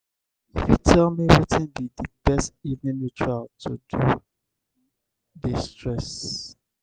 you fit tell me wetin be di best evening ritual to de-stress?